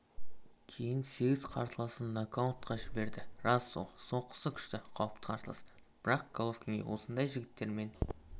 кейін сегіз қарсыласын нокаутқа жіберді рас ол соққысы күшті қауіпті қарсылас бірақ головкинге осындай жігіттермен